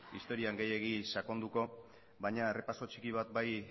historian gehiegi sakonduko baina errepaso txiki bat bai